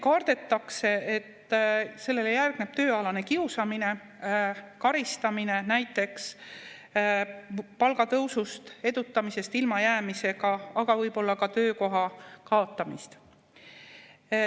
Kardetakse, et sellele järgneb tööalane kiusamine, karistamine, näiteks palgatõusust või edutamisest ilmajäämisega, aga võib-olla ka töökoha kaotamine.